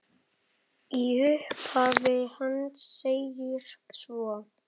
Í upphafi hans segir svo